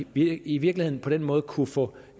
vi i virkeligheden på den måde kunne få